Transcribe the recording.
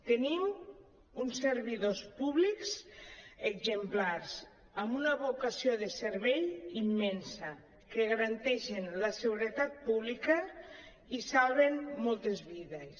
tenim uns servidors públics exemplars amb una vocació de servei immensa que garanteixen la seguretat pública i salven moltes vides